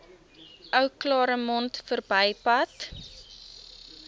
ou claremont verbypad